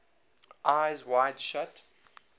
eyes wide shut